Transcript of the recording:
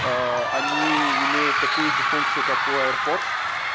они имеют такую же функцию как у аирподс